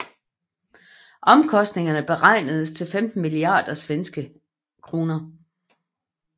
Omkostningerne beregnedes til 15 milliarder SEK